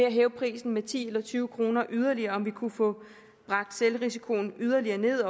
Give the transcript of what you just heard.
at hæve prisen med ti eller tyve kroner yderligere altså om vi kunne få bragt selvrisikoen yderligere ned